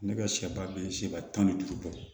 Ne ka sɛ ba bɛ se ka tan ni duuru bɔ